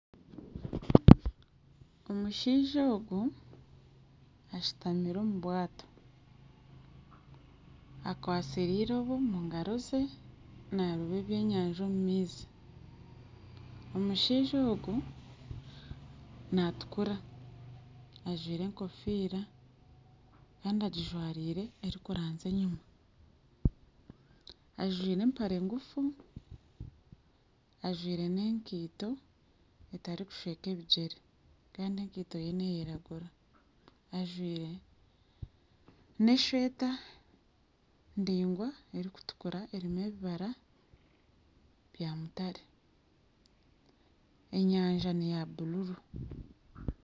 Omushaija ogu ashutamire omu bwato akwatsire eirobo omu ngaro ze naaroba ebyenyanja omu maizi omushaija ogu naatukura ajwaire enkofiira kandi agijwaire erikiranzya enyuma ajwaire empare ngufu ajwaire n'enkaito etarikushweka ebigyere Kandi enkaito ye neyiragura ajwaire neshweta ndaingwa erikutukura erimu ebibara bya mutare enyanja neya bururu